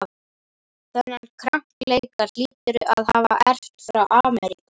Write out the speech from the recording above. Þennan krankleika hlýturðu að hafa erft frá Ameríku.